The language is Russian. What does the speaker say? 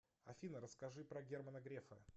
афина расскажи про германа грефа